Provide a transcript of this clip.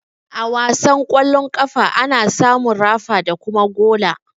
A wasan ƙwallon ƙafa, ana samun rafa da kuma gola.